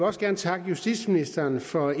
også gerne takke justitsministeren for